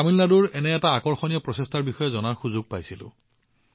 মই তামিলনাডুৰ পৰা এনেকুৱা এটা আকৰ্ষণীয় প্ৰচেষ্টাৰ বিষয়ে জানিবলৈ সুযোগ পাইছিলো